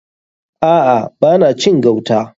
A'a. Ba na cin gauta.